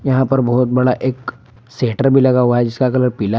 यहां पर बहुत बड़ा एक शेटर भी लगा हुआ है जिसका कलर पीला है।